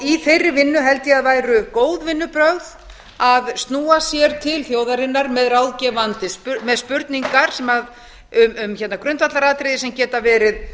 í þeirri vinnu held ég að væru góð vinnubrögð að snúa sér til þjóðarinnar með spurningar um grundvallaratriði sem geta verið